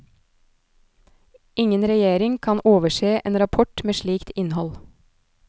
Ingen regjering kan overse en rapport med slikt innhold.